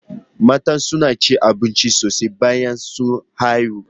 Mata suna cin abinci sosai bayan sun haifu